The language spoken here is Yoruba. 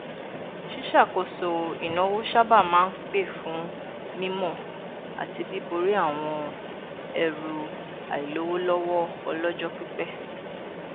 ṣíṣàkóso ìṣúná sábà máa n pè fún mímọ àti bíborí àwọn ẹrù àìlówólọwọ ọlọjọ pípẹ